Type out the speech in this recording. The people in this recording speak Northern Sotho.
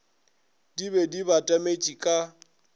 di be di batametše ka